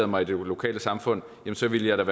mig i det lokale samfund så ville jeg da